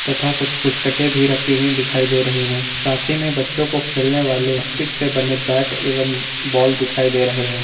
तथा कुछ पुस्तके भी रखी हुई दिखाई दे रही हैं साथ ही में बच्चों को खेलने वाले स्टिक से बने पैट एवं बाल दिखाई दे रहे हैं।